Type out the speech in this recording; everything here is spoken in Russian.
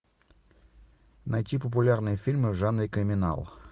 найти популярные фильмы в жанре криминал